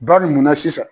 Ba munna sisan